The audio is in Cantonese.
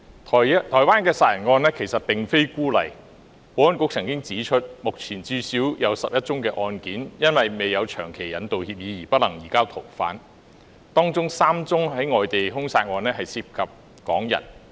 台灣殺人案並非孤例，保安局曾指出，目前至少有11宗案件，因未有長期引渡協議而不能移交逃犯，當中有3宗外地兇殺案涉及港人。